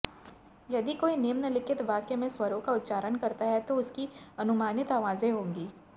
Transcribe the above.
यदि कोई निम्नलिखित वाक्य में स्वरों का उच्चारण करता है तो उसकी अनुमानित आवाज़ें होंगी